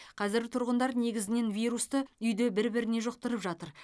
қазір тұрғындар негізінен вирусты үйде бір біріне жұқтырып жатыр